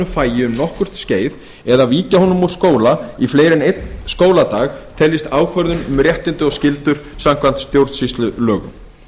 fagi um nokkurt skeið eða víkja honum úr skóla í fleiri en einn skóladag teljist ákvörðun um réttindi og skyldur samkvæmt stjórnsýslulögum